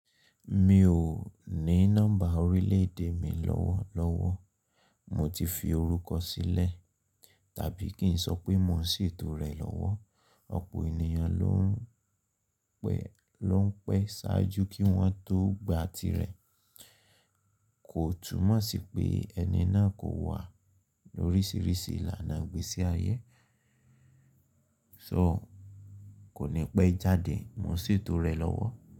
Mi ò ní nọ́mbà orílẹ̀-èdè mi lọ́wọ́lọ́wọ́. Mo ti fi orúkọ sílẹ̀, tàbí kí n sọ pé mo n sí ètò rẹ lọ́wọ́. Ọ̀pọ̀ ènìyàn ló n pẹ́ ṣáájú kí wọ́n tó gba tirẹ̀. Kò túnmọ̀ sí pé ẹni náà kò wà lóríṣìíríṣìí ìlànà ìgbésí ayé. So kò ní pẹ́ jáde, mo n sètò rẹ lọ́wọ́